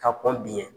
Ka kɔn biɲɛ